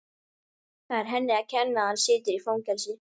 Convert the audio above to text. Það er henni að kenna að hann situr í fangelsi.